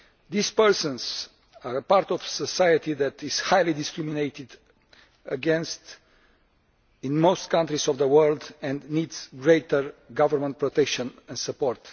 These persons are a part of society that is highly discriminated against in most countries of the world and that needs greater government protection and support.